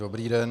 Dobrý den.